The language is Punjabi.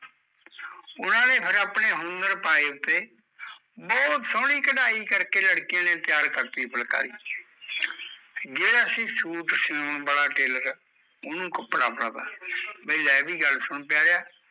ਉਹਨਾਂ ਨੇ ਫਿਰ ਆਪਣੇ ਹੁਨਰ ਪਾਏ ਉਹਤੇ ਬਹੁਤ ਸੋਹਣੀ ਕਢਾਈ ਕਰਕੇ ਲੜਕੀਆਂ ਨੇ ਤਿਆਰ ਕਰਤੀ ਫੁਲਕਾਰੀ ਜਿਹੜਾ ਸੀ ਸੂਤ ਸਿਓਣ ਵਾਲਾ ਉਹਨੂੰ ਕੱਪੜਾ ਫੜਾਤਾ, ਬਈ ਲੈ ਵੀ ਗੱਲ ਸੁਣ ਪਿਆਰਿਆ